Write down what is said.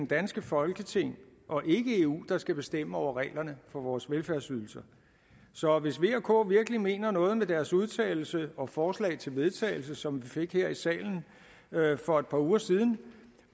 danske folketing og ikke eu der skal bestemme reglerne for vores velfærdsydelser så hvis v og k virkelig mener noget med deres udtalelse og forslag til vedtagelse som vi fik her i salen for et par uger siden